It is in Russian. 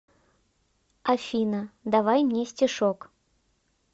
афина давай мне стишок